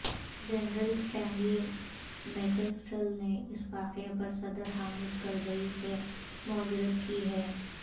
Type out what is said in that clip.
general Stanley McChrystal نے اس واقعہ پر صدر حامد کرزئی سے معذرت کی ہے